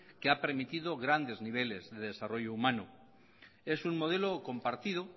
que ha permitido grandes niveles de desarrollo humano es un modelo compartido